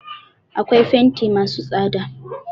Akwai fenti masu tsada.